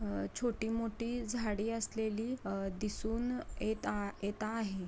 अ छोटी मोठी झाडी असलेली अ दिसुन येता येता आहे.